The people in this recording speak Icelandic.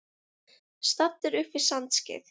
Staddur upp við Sandskeið.